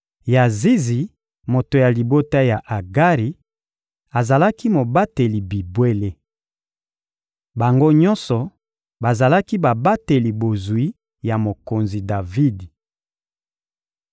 Yazizi, moto ya libota ya Agari, azalaki mobateli bibwele. Bango nyonso bazalaki babateli bozwi ya mokonzi Davidi.